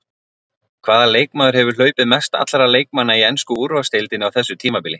Hvaða leikmaður hefur hlaupið mest allra leikmanna í ensku úrvalsdeildinni á þessu tímabili?